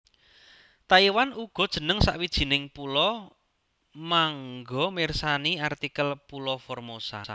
Taiwan uga jeneng sawijining pulo mangga mirsani artikel pulo Formosa